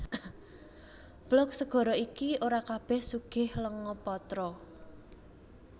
Blok segara iki ora kabèh sugih lenga patra